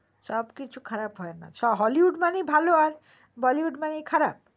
সব কিছু খারাপ হয় না hollywood মানেই ভালো আর Bollywood মানেই খারাপ